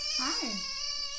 Hej